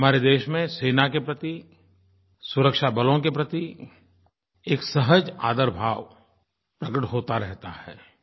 हमारे देश में सेना के प्रति सुरक्षा बलों के प्रति एक सहज आदर भाव प्रकट होता रहता है